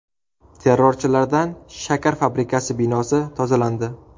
Terrorchilardan shakar fabrikasi binosi tozalandi.